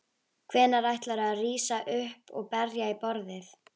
Hvenær ætlarðu að rísa upp og berja í borðið?